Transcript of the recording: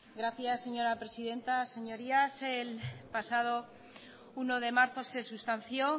gracias señora presidenta señorías el pasado uno de marzo se sustanció